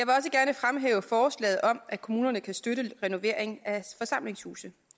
jeg forslaget om at kommunerne kan støtte renovering af forsamlingshuse